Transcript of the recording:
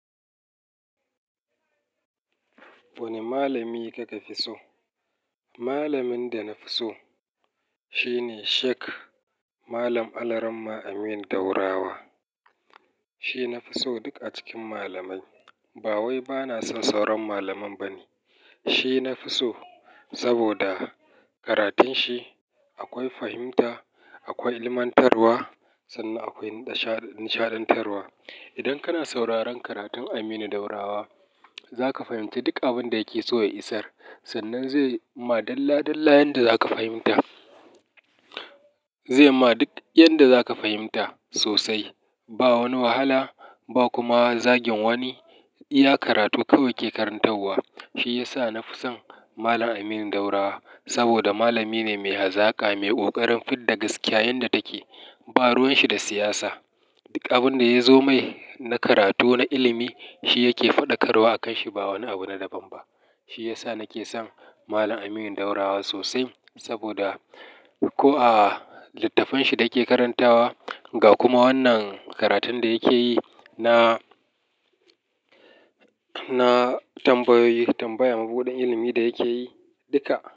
Wani malami kake fi so? Malamin da na fi so shine Sheik Malam Alaramma Aminu Daurawa. Shi na fi so duk a cikin malamai. Ba wai bana son sauran malaman ba ne, shi na fi so saboda karatun shi akwai fahimta, akwai ilmantarwa sannan akwai nishaɗantarwa. Idan kana sauraron karatun Aminu Daurawa, za ka fahimci duk abin da yake so ya isar. Sannan zai ma dalla-dalla yanda za ka fahimta. Zai ma duk yanda za ka fahimta sosai. Ba wani wahala ba kuma zagin wani. Iya karatu kawai ke karantawa. Shi ya sa na fi son Malam Aminu Daurawa saboda malami ne mai hazaka, mai ƙoƙarin fidda gaskiya yanda take. Ba ruwan shi da siyasa. Duk abin da ya zo mai na karatu na ilimi, shi yake faɗakarwa a kan shi ba wani abu na daban ba. Shi ya sa nake son Malam Aminu Daurawa sosai saboda ko a littattafan shi da yake karantawa ga kuma wannan karatun da yake yi na, na tambayoyi, tambaya, mabuɗin ilimi da yake yi duka.